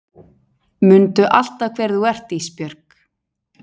Mundu alltaf hver þú ert Ísbjörg